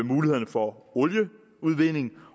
mulighederne for olieudvinding